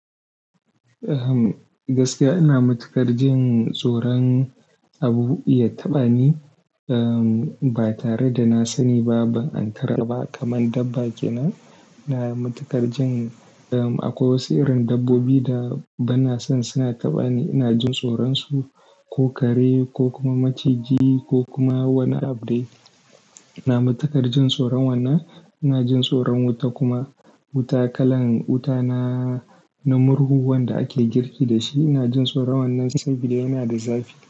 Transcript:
Eh, gaskiya ina matuƙar jin tsoron abu ya taɓa ni ba tare da na sani ba, ban ankara ba kamar dabba kenan. Na matuƙar jin akwai wasu irin dabbobi da banna son suna taɓa ni. Ina jin tsoronsu, ko kare ko kuma maciji ko kuma wani abu dai. Ina matuƙar jin tsoron wannan. Ina jin tsoron wuta kuma, wuta kalan wuta na, na murhu wanda ake girki da shi. Ina jin tsoron wannan saboda yana da zafi.